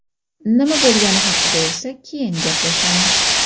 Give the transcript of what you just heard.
Nima bo‘lgani haqida esa keyin gaplashamiz.